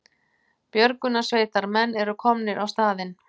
Björgunarsveitarmenn eru komnir á staðinn